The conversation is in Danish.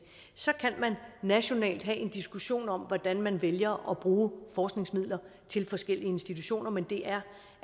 så kan man nationalt have en diskussion om hvordan man vælger at bruge forskningsmidler til forskellige institutioner men det er